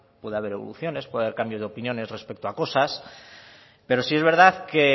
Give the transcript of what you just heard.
puede haber evoluciones puede haber cambio de opiniones respecto a cosas pero sí es verdad que